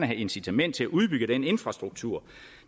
et incitament til at udbygge den infrastruktur